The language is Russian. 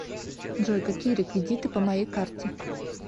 джой какие реквидиты по моей карте